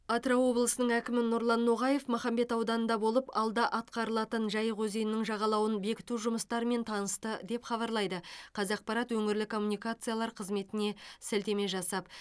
атырау облысының әкімі нұрлан ноғаев махамбет ауданында болып алда атқарылатын жайық өзенінің жағалауын бекіту жұмыстарымен танысты деп хабарлайды қазақпарат өңірлік коммуникациялар қызметіне сілтеме жасап